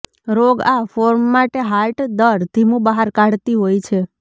રોગ આ ફોર્મ માટે હાર્ટ દર ધીમું બહાર કાઢતી હોય છે